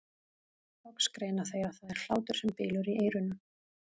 Loks greina þeir að það er hlátur sem bylur í eyrunum.